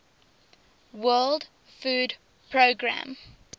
world food programme